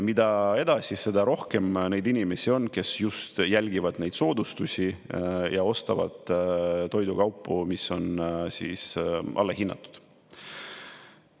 Mida edasi, seda rohkem neid inimesi on, kes jälgivad just neid soodustusi ja ostavad toidukaupu, mis on allahinnatud.